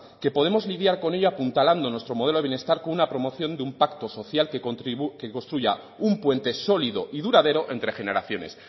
que podemos lidiar con ello apuntalando nuestro modelo de bienestar con una promoción de un pacto social que construya un puente sólido y duradero entre generaciones